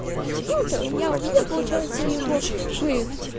я увидел получается его